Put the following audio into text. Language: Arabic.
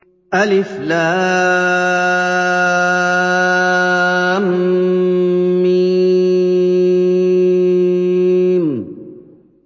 الم